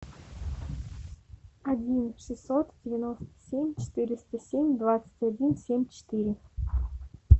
один шестьсот девяносто семь четыреста семь двадцать один семь четыре